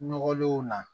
Nɔgɔlenw na